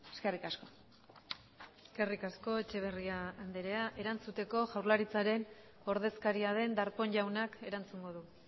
eskerrik asko eskerrik asko etxeberria andrea erantzuteko jaurlaritzaren ordezkaria den darpón jaunak erantzungo du